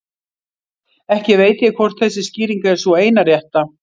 Ekki veit ég hvort þessi skýring er sú eina rétta.